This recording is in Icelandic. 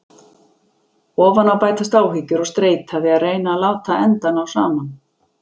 Ofan á bætast áhyggjur og streita við að reyna að láta enda ná saman.